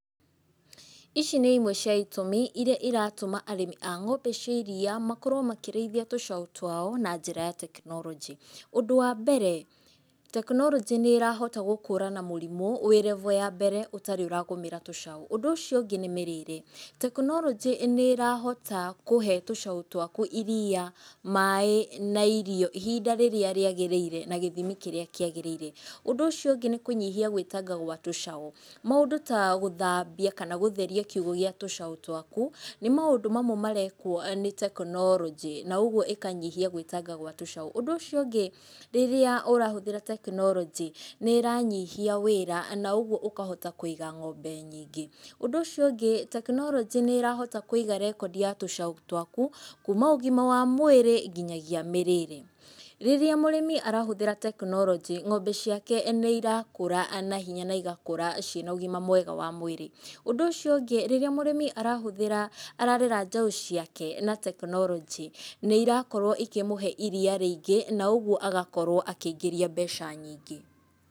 Ici nĩ imwe cia itũmi iria iratũma arĩmi a ng'ombe cia iria makorwo makĩrĩithia tũcaũ twao na njĩra tekinoronjĩ,ũ ndũ wa mbere, tekinoronjĩ nĩrahota gũkũrana na mũrimũ wĩ level ya mbere ũtarĩ ũragũmĩra tũcaũ, ũndũ ũcio ũngĩ nĩ mĩrĩre, tekinoronjĩ nĩrahota kũhe tũcaũ twaku iria, maĩ na irio ihinda rĩrĩa rĩagĩrĩire na gĩthimi kĩrĩa kĩagĩrĩire, ũndũ ũcio ũngĩ nĩ kũnyihia gũitanga gwa tũcaũ, maũndũ ta gũthambia kana gũtheria kiũgo gĩa tũcaũ twaku, nĩ maũndũ mamwe marekwo nĩ tekinoronjĩ na ũguo ĩkanyihia gwĩtanga gwa tũcaũ, ũndũ ũcio ũngĩ, rĩrĩa ũrahũthĩra tekinoronjĩ nĩranyihia wĩra na ũguo ũkahota kũiga ng'ombe nyingĩ, ũndũ ũcio ũngĩ tekinoronjĩ nĩrahota kũiga rekondi ya tũcaũ twaku kuuma ũgima wa mwĩrĩ nginyagia mĩrĩre, rĩrĩa mũrĩmi arahũthĩra tekinoronjĩ, ng'ombe ciake nĩirakũra naihenya na igakũra cina ũgima mwega wa mwĩrĩ, ũndũ ũcio ũngĩ rĩrĩa mũrĩmi arahũthĩra, ararera njaũ ciake na tekinoronjĩ, nĩirakorwo ikĩmũhe iria rĩingĩ, na ũguo agakorwo akĩingĩria mbeca nyingĩ.